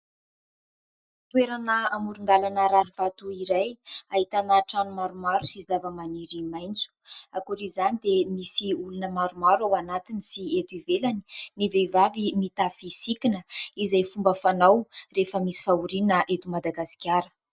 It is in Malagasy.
Toerana amoron-dalana rarivato iray ahitana trano maromaro sy zavamaniry maitso, ankoatr'izany dia misy olona maromaro ao anatiny sy eto ivelany, ny vehivavy mitafy sikina izay fomba fanao rehefa misy fahoriana eto Madagasikara.